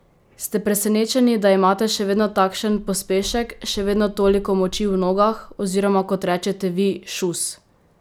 Ste presenečni, da imate še vedno takšen pospešek, še vedno toliko moči v nogah, oziroma, kot rečete vi, šus?